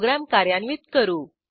program कार्यान्वित करू